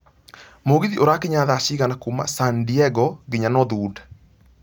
mũgithi ũrakinya thaa cigana kuuma San Diego nginya north hwood